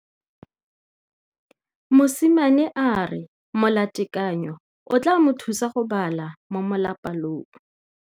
Mosimane a re molatekanyô o tla mo thusa go bala mo molapalong.